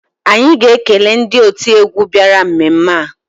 Anyị ga-ekele ndị otiegwu bịara mmemme a